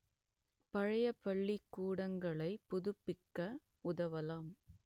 பழைய பள்ளிக்கூடங்களைப் புதுப்பிக்க உதவலாம்